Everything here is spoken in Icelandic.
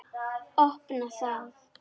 Opna það.